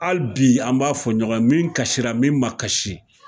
Hali bi an b'a fɔ ɲɔgɔn ye min kasira min ma kasi,